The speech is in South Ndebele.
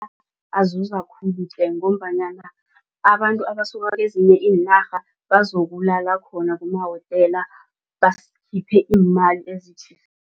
Azuza khulu tle ngombanyana abantu abasuka kezinye iinarha bazokulala khona kumahotela basiphe iimali